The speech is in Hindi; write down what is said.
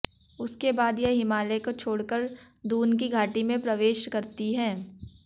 उसके बाद यह हिमालय को छोड़ कर दून की घाटी में प्रवेश करती है